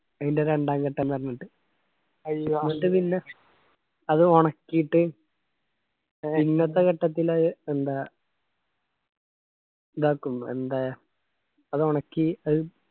ആയിന്റ രണ്ടാം ഘട്ടം ന്നിട്ട് പിന്ന അത് ഒണക്കിയിട്ട് പിന്നത്തെ ഘട്ടത്തിൽ അത് എന്താ ക്കും എന്തെ.